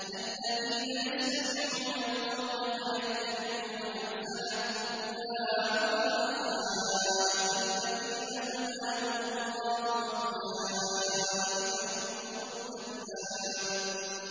الَّذِينَ يَسْتَمِعُونَ الْقَوْلَ فَيَتَّبِعُونَ أَحْسَنَهُ ۚ أُولَٰئِكَ الَّذِينَ هَدَاهُمُ اللَّهُ ۖ وَأُولَٰئِكَ هُمْ أُولُو الْأَلْبَابِ